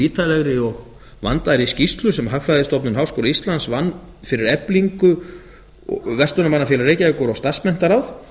ítarlegri og vandaðri skýrslu sem hagfræðistofnun háskóla íslands vann fyrir eflingu verslunarmannafélag reykjavíkur og starfsmenntaráð